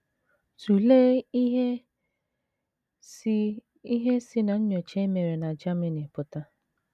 Tụlee ihe si ihe si ná nnyocha e mere na Germany pụta.